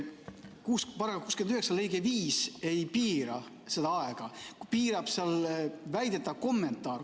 Paragrahvi 69 lõige 5 ei piira seda aega, piirab väidetav kommentaar.